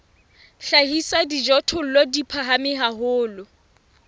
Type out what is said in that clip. hlahisa dijothollo di phahame haholo